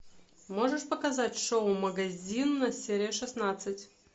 можешь показать шоу магазин серия шестнадцать